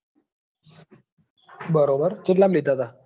બરાબર ચેટલા માં લીધા હતા.